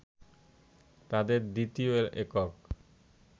তাদের দ্বিতীয় একক